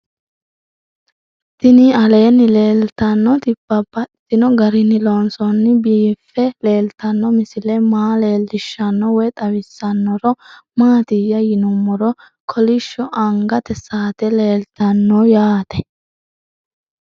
Tinni aleenni leelittannotti babaxxittinno garinni loonseenna biiffe leelittanno misile maa leelishshanno woy xawisannori maattiya yinummoro kolishsho angatte saatte leelittanno yaatte